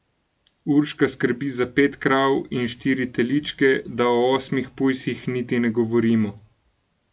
Urška skrbi za pet krav in štiri teličke, da o osmih pujsih niti ne govorimo.